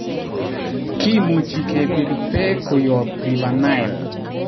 Kimuchi kepir peek koyop River Nile